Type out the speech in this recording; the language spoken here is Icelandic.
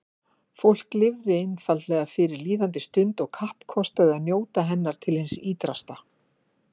Fólk lifði einfaldlega fyrir líðandi stund og kappkostaði að njóta hennar til hins ýtrasta.